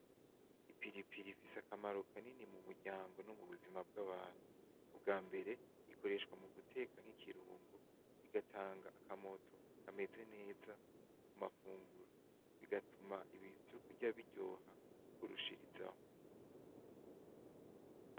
Ipilipili ifise akamaro kanini mu muryango ,no mubuzima bwa bantu ubwa mbere ikoreshwa guteka ikirungo igatanga akamoto kamez neza bigatuma ivyo kurya biryoha kurushirizaho .